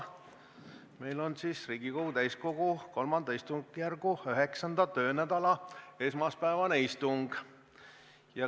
Meil on Riigikogu täiskogu III istungjärgu 9. töönädala esmaspäevane istung.